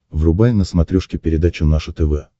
врубай на смотрешке передачу наше тв